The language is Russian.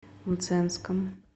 мценском